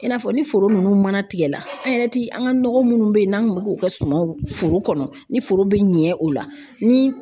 I n'a fɔ ni foro nunnu mana tigɛla an yɛrɛ ti an ka nɔgɔ munnu bɛ yen n'an kun b'u kɛ sumanw foro kɔnɔ ni foro bɛ ɲɛ o la ni